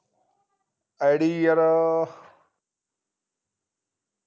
ID ਯਾਰ